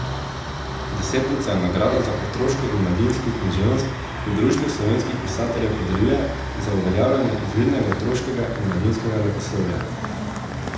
Desetnica je nagrada za otroško in mladinsko književnost, ki jo Društvo slovenskih pisateljev podeljuje za uveljavljanje izvirnega otroškega in mladinskega leposlovja.